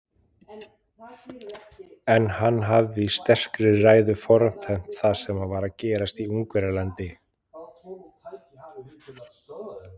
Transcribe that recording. En hann hafði í sterkri ræðu fordæmt það sem var að gerast í Ungverjalandi.